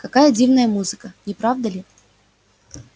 какая дивная музыка не правда ли